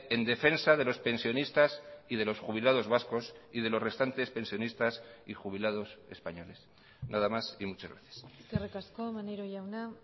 en defensa de los pensionistas y de los jubilados vascos y de los restantes pensionistas y jubilados españoles nada más y muchas gracias eskerrik asko maneiro jauna